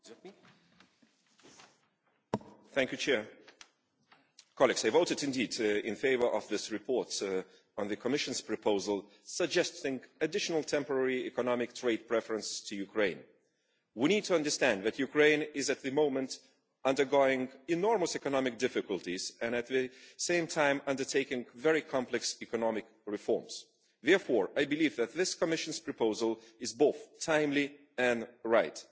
Madam President, I did indeed vote in favour of this report on the Commission's proposal suggesting additional temporary economic trade preferences for Ukraine. We need to understand that Ukraine is at the moment undergoing enormous economic difficulties and at the same time undertaking very complex economic reforms. Therefore, I believe that this Commission proposal is both timely and right.